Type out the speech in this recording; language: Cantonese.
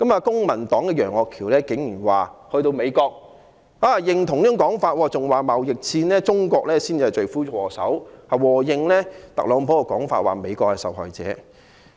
公民黨的楊岳橋議員竟然在美國對這種說法表示認同，更說中國才是貿易戰的罪魁禍首，附和特朗普的說法，指美國是受害者。